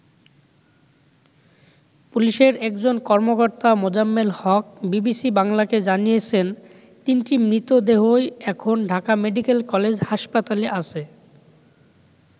পুলিশের একজন কর্মকর্তা মোজাম্মেল হক বিবিসি বাংলাকে জানিয়েছেন, তিনটি মৃতদেহই এখন ঢাকা মেডিক্যাল কলেজ হাসপাতালে আছে।